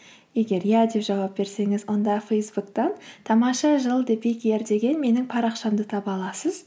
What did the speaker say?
егер иә деп жауап берсеңіз онда фейсбуктан тамаша жыл деген менің парақшамды таба аласыз